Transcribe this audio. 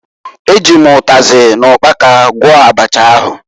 E ji m ụtazị na ụkpaka gwọọ abacha ahụ.